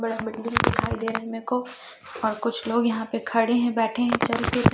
बड़ा दिखाई दे रहे हैं मेरे को और कुछ लोग यहाॅं पे खड़े हैं बैठे हैं चल के--